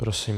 Prosím.